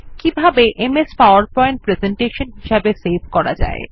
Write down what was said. কিভাবে M S PowerPoint presentation হিসাবে save করা যায়